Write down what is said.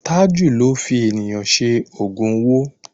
Tájù ló fi ènìyàn ṣe ògùn owó.